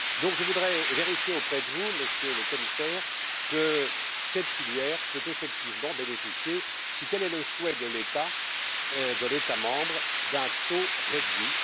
Je voudrais donc vérifier auprès de vous, Monsieur le Commissaire, que cette filière peut effectivement bénéficier, si tel est le souhait de l'État membre, d'un taux réduit.